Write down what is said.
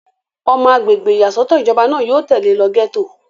ọmọ agbègbè ìyàsọ́tọ̀ ìjọba náà yóò tẹ̀lé lọ gẹ́tò